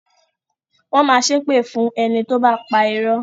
Wọn máa ṣépè fún ẹni tóbá pa irọ́